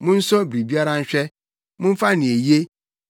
Monsɔ biribiara nhwɛ; momfa nea eye.